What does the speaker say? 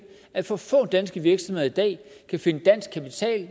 at for få danske virksomheder i dag kan finde dansk kapital